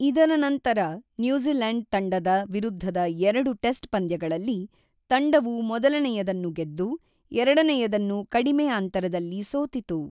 ಇದರ ನಂತರ, ನ್ಯೂಜಿಲೆಂಡ್ ತಂಡದ ವಿರುದ್ಧದ ಎರಡು ಟೆಸ್ಟ್ ಪಂದ್ಯಗಳಲ್ಲಿ, ತಂಡವು ಮೊದಲನೆಯದನ್ನು ಗೆದ್ದು, ಎರಡನೆಯದನ್ನು ಕಡಿಮೆ ಅಂತರದಲ್ಲಿ ಸೋತಿತು.